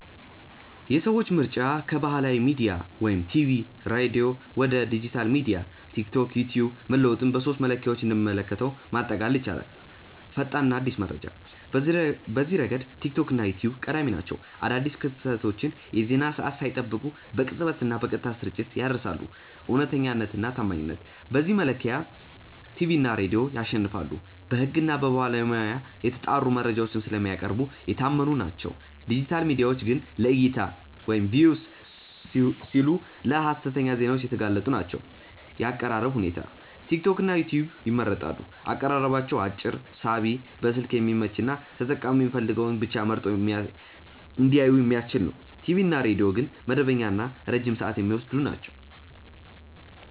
የሰዎች ምርጫ ከባህላዊ ሚዲያ (ቲቪ/ሬዲዮ) ወደ ዲጂታል ሚዲያ (ቲክቶክ/ዩትዩብ) መለወጡን በሦስቱ መለኪያዎች እንደሚከተለው ማጠቃለል ይቻላል፦ ፈጣንና አዲስ መረጃ፦ በዚህ ረገድ ቲክቶክ እና ዩትዩብ ቀዳሚ ናቸው። አዳዲስ ክስተቶችን የዜና ሰዓት ሳይጠብቁ በቅጽበትና በቀጥታ ስርጭት ያደርሳሉ። እውነተኛነትና ታማኝነት፦ በዚህ መለኪያ ቲቪ እና ሬዲዮ ያሸንፋሉ። በሕግና በባለሙያ የተጣሩ መረጃዎችን ስለሚያቀርቡ የታመኑ ናቸው፤ ዲጂታል ሚዲያዎች ግን ለዕይታ (Views) ሲሉ ለሀሰተኛ ዜናዎች የተጋለጡ ናቸው። የአቀራረብ ሁኔታ፦ ቲክቶክና ዩትዩብ ይመረጣሉ። አቀራረባቸው አጭር፣ ሳቢ፣ በስልክ የሚመች እና ተጠቃሚው የሚፈልገውን ብቻ መርጦ እንዲያይ የሚያስችል ነው። ቲቪ እና ሬዲዮ ግን መደበኛና ረጅም ሰዓት የሚወስዱ ናቸው።